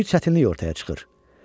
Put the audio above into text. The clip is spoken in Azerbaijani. Bir çətinlik ortaya çıxır.